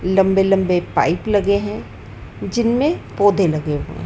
लंबे लंबे पाइप लगे हैं जिनमें पौधे लगे हुए।